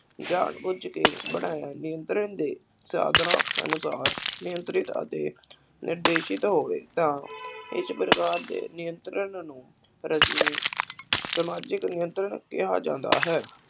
ਜਾਣ ਬੁੱਝ ਕੇ ਬਣਾਇਆ, ਨਿਯੰਤਰਣ ਦੇ ਸਾਧਨਾਂ ਅਨੁਸਾਰ ਨਿਯੰਤਰਣ ਅਤੇ ਨਿਰਦੇਸ਼ਿਤ ਹੋਵੇ ਤਾਂ ਇਸ ਪ੍ਰਕਾਰ ਦੇ ਨਿਯੰਤਰਣ ਨੂੰ ਰਸਮੀ ਸਮਾਜਿਕ ਨਿਯੰਤਰਣ ਕਿਹਾ ਜਾਂਦਾ ਹੈ।